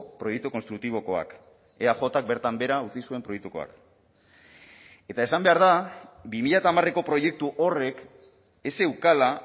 proiektu konstruktibokoak eajk bertan behera utzi zuen proiektukoak eta esan behar da bi mila hamareko proiektu horrek ez zeukala